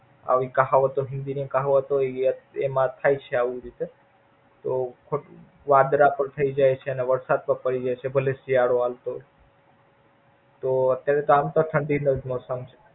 આવી કહાવતો હિન્દી ની કહાવતો એમાં થાય છે આવી રીતેતો વાદળા પણ થઈ જાય છે. અને વરસાદ પણ પડી જાય છે. ભલે શિયાળો હાલતો હોય તો આમ તો ઠંડી નું જ season છે.